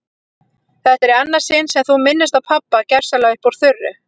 Þetta er í annað sinn sem þú minnist á pabba gersamlega upp úr þurru.